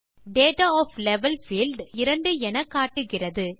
data of level field இப்போது 2 எனக்காட்டுகிறது